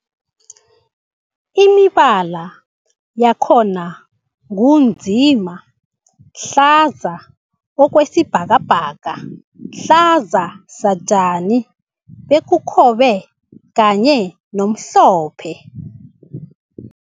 Imibala yakhona ngunzima, hlaza okwesibhakabhaka, hlaza satjani, ubukhobe kanye nomhlophe.